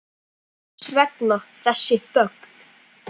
Hvers vegna þessi þögn?